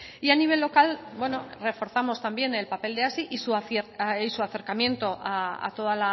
y a nivel local reforzamos también el papel de y su acercamiento a toda